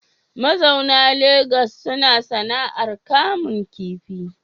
Mazauna Legas suna sana’ar kamun kifi.